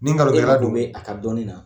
Ni ngalontigɛla don, e ma dun bɛ a ka dɔɔnin na,